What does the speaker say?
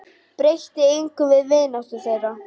Breytti engu um vináttu þeirra.